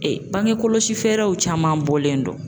bange kɔlɔsi fɛɛrɛw caman bɔlen don.